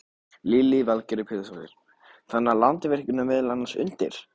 Lillý Valgerður Pétursdóttir: Þannig að Landsvirkjun er meðal annars undir?